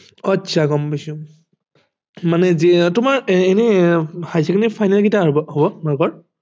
আচ্ছা গম পাইছো মানে তোমাৰ এনেই higher secondary final কেতিয়া হব তোমালোকৰ